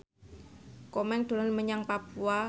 Komeng dolan menyang Papua